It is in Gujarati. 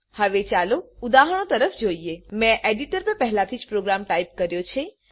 હવે ચાલો ઉદાહરણો તરફે જઈએ મેં એડીટર પર પહેલેથી જ પ્રોગ્રામ ટાઈપ કર્યો છે